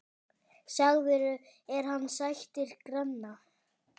Sagður er hann sættir granna.